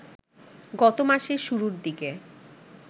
গত মাসের শুরুর দিকে